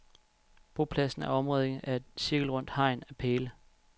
Bopladsen er omringet af et cirkelrundt hegn af pæle.